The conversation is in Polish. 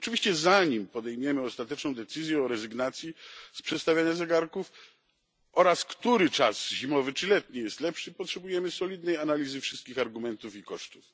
Oczywiście zanim podejmiemy ostateczną decyzję o rezygnacji z przestawiania zegarków oraz co do tego, który czas zimowy czy letni jest lepszy, potrzebujemy solidnej analizy wszystkich argumentów i kosztów.